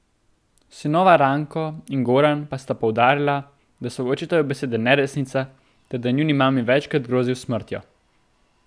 Sinova Ranko in Goran pa sta poudarila, da so očetove besede neresnica ter da je njuni mami večkrat grozil s smrtjo.